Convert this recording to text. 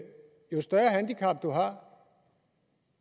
jo større handicap man har